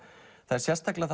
það er sérstaklega